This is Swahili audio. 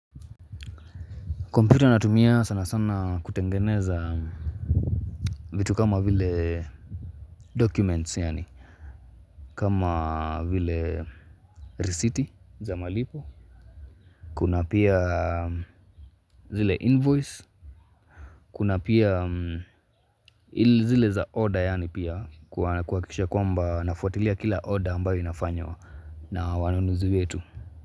Computer natumia sana sana kutengeneza vitu kama vile documents yani kama vile resiti za malipo Kuna pia zile invoice kuna pia zile za order yani pia kuwakisha kwamba nafuatilia kila order ambayo inafanywa na wanunuzi yetu.